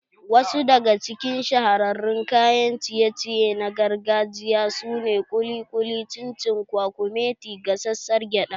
Wasu daga cikin shahararrun kayan ciye ciye na gargajiya su ne kuli kuli, chin chin, kwakumeti, gasassar gyada